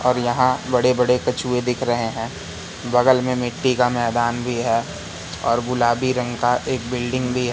और यहां बड़े बड़े कछुए दिख रहे हैं बगल में मिट्टी का मैदान भी है और गुलाबी रंग का एक बिल्डिंग भी है।